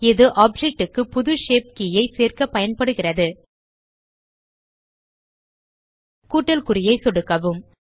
இது ஆப்ஜெக்ட் க்கு புது ஷேப் கே ஐ சேர்க்க பயன்படுகிறது கூட்டல் குறியை சொடுக்கவும்